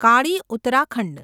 Kali Uttarakhand